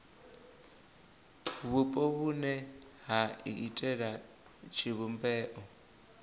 vhupo vhune ha iitela tshivhumbeo